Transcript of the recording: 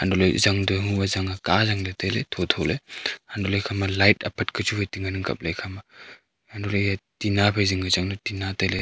untohley jang tohua chang a ka jangley tailey thotholey untohley ekhama light apat ka chu tengan ang kapley ekhama untohley eya tinna phai zingka changley tinna tailey.